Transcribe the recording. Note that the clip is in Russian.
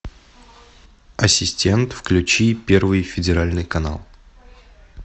ассистент включи первый федеральный канал